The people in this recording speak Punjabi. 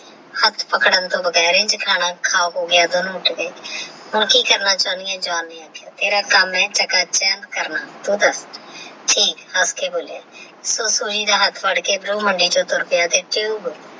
ਹੱਥ ਪਕੜਨਾ ਤੋਂ ਬੇਗਾਰ ਇੱਝ ਖਾਣਾ ਖਾ ਹੋ ਗਿਆ ਦੋਨਾਂ ਦੇ ਵਿੱਚ ਹੁਣ ਕੀ ਕਰਨਾ ਚਾਹੁੰਦੀ ਤੇਰਾ ਕੰਮ ਹੈ ਚਾਕਾ ਚੰਦਾ ਕਰਨਾ ਠੀਕ ਆਪੇ ਬੋਲਿਆ ਤੇ Soji ਦਾ ਹੱਥ ਫੜ ਕੇ ਬਰੋ ਮੰਡੀ ਵਿੱਚੋ ਤੜਪਿਆ ਤੇ